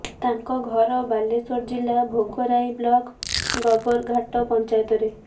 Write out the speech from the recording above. ତାଙ୍କ ଘର ବାଲେଶ୍ୱର ଜିଲ୍ଲା ଭୋଗରାଇ ବ୍ଲକ୍ ଗବରଘାଟ ପଞ୍ଚାୟତରେ